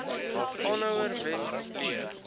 aanhouer wen leer